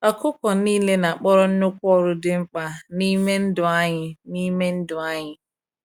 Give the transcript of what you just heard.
Ọkụkọ niile na-akpọrọ nnukwu ọrụ dị mkpa n’ime ndụ anyị. n’ime ndụ anyị.